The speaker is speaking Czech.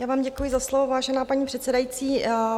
Já vám děkuji za slovo, vážená paní předsedající.